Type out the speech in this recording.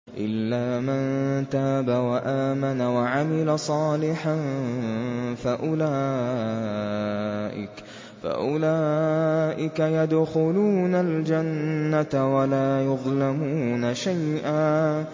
إِلَّا مَن تَابَ وَآمَنَ وَعَمِلَ صَالِحًا فَأُولَٰئِكَ يَدْخُلُونَ الْجَنَّةَ وَلَا يُظْلَمُونَ شَيْئًا